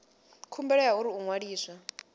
khumbelo ya uri u ṅwaliswa